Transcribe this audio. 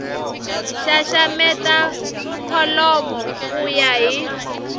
xaxameta kholomo ku ya hi